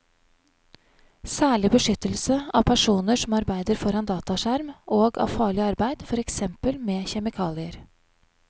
Særlig beskyttelse av personer som arbeider foran dataskjerm og av farlig arbeid, for eksempel med kjemikalier.